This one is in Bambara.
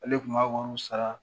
Ale de kun b'a wariw sara